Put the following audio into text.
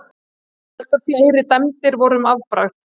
Heldur fleiri dæmi voru um afbragð.